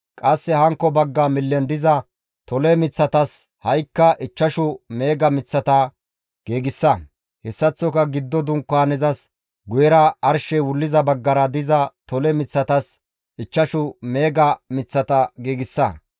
qasse hankko bagga millen diza tole miththatas ha7ikka ichchashu meega miththata giigsa. Hessaththoka giddo Dunkaanezas guyera arshey wulliza baggara diza tole miththatas ichchashu meega miththata giigsa.